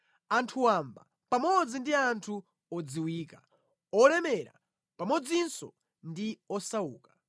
anthu wamba pamodzi ndi anthu odziwika, olemera pamodzinso ndi osauka: